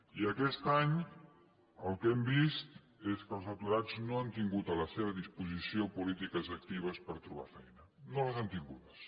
i aquest any el que hem vist és que els aturats no han tingut a la seva disposició polítiques actives per trobar feina no les han tingudes